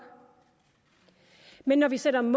men når vi sætter mål